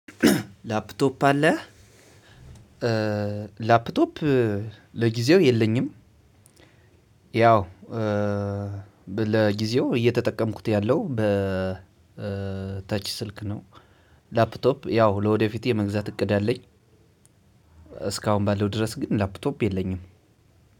ላፕቶፕ አለህ? ላፕቶፕ ለጊዜው የለኝም። ያው ለጊዜው እየተጠቀምኩት ያለሁ ተች ስልክ ነው። ላፕቶፕ ያው ለወደፊት የመግዛት እቅድ አለኝ። እስካሁን ባለው ድረስ ግን ላፕቶፕ የለኝም።